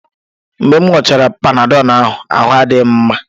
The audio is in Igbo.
Mgbe m ṅụọchara Panadọ ahụ, ahụ́ adị m mma